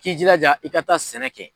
K'i jilaja i ka taa sɛnɛ kɛ.